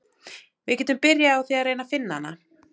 Við getum byrjað á því að reyna að finna hana.